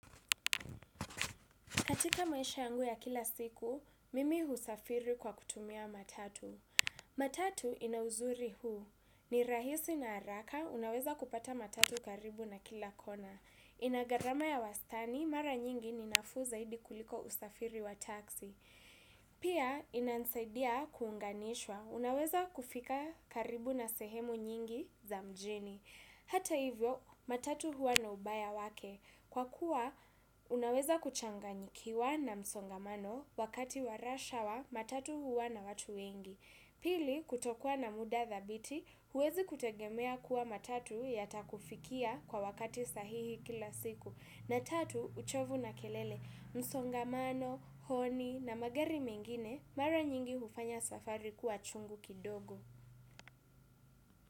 Katika maisha yangu ya kila siku, mimi husafiri kwa kutumia matatu. Matatu inauzuri huu. Ni rahisi na haraka, unaweza kupata matatu karibu na kila kona. Inagharama ya wastani, mara nyingi ni nafuu zaidi kuliko usafiri wa taksi. Pia, inansaidia kuunganishwa. Unaweza kufika karibu na sehemu nyingi za mjini. Hata hivyo, matatu huwa na ubaya wake. Kwa kuwa, unaweza kuchanganyikiwa na msongamano wakati wa rush hour, matatu huwa na watu wengi. Pili, kutokua na muda thabiti, huwezi kutegemea kuwa matatu yatakufikia kwa wakati sahihi kila siku. Na tatu, uchovu na kelele. Msongamano, honi na magari mengine, mara nyingi hufanya safari kuwa chungu kidogo.